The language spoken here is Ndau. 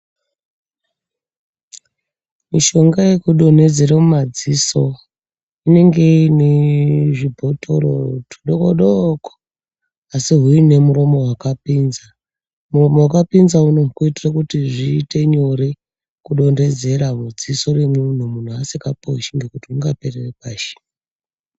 Mishonga yekudonhedzera mumadziso inenge iine zvibhothoro tudokodoko asi huine muromo wakapinza. Murombo wakapinza unowu kuitira kuti zviite nyore kudonhedzera mudziso remunhu munhu asingaposhi ngekuti hungaperere pashi.